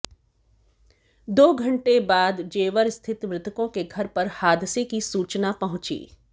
दो घंटे बाद जेवर स्थित मृतकों के घर पर हादसे की सूचना पहुंची